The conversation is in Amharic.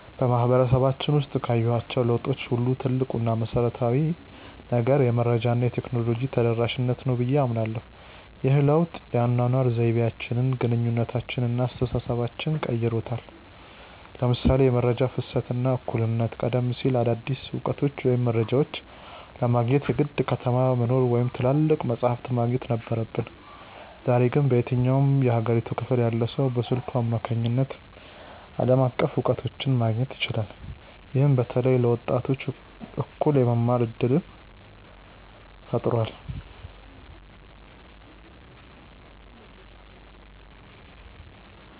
በማህበረሰባችን ውስጥ ካየኋቸው ለውጦች ሁሉ ትልቁ እና መሰረታዊው ነገር "የመረጃ እና የቴክኖሎጂ ተደራሽነት" ነው ብዬ አምናለሁ። ይህ ለውጥ የአኗኗር ዘይቤያችንን፣ ግንኙነታችንን እና አስተሳሰባችንን ቀይሮታል ለምሳሌ የመረጃ ፍሰት እና እኩልነት ቀደም ሲል አዳዲስ እውቀቶችን ወይም መረጃዎችን ለማግኘት የግድ ከተማ መኖር ወይም ትላልቅ መጻሕፍት ማግኘት ነበረብን። ዛሬ ግን በየትኛውም የሀገሪቱ ክፍል ያለ ሰው በስልኩ አማካኝነት ዓለም አቀፍ እውቀቶችን ማግኘት ይችላል። ይህም በተለይ ለወጣቶች እኩል የመማር እድልን ፈጥሯል።